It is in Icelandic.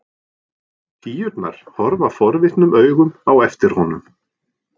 Píurnar horfa forvitnum augum á eftir honum.